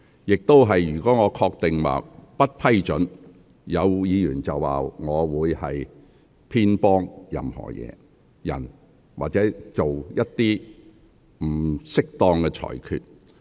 若我只憑個人判斷不予批准，或有議員會指我偏幫某人或作出不適當的裁決。